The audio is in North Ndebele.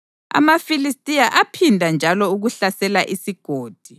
AmaFilistiya aphinda njalo ukuhlasela isigodi,